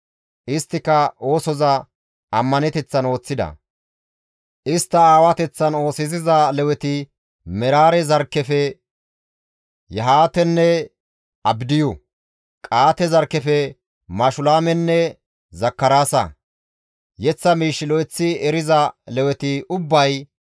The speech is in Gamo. Isttika oosoza ammaneteththan ooththida; istta aawateththan oosisiza Leweti Meraare zarkkefe Yahaatenne Abdiyu, Qa7aate zarkkefe Mashulaamenne Zakaraasa. Yeththa miish lo7eththi eriza Leweti ubbay,